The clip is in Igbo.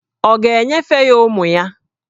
Ọ̀ ga-enyefe ya ụmụ ya?